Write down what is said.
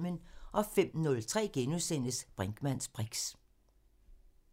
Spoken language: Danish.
05:03: Brinkmanns briks *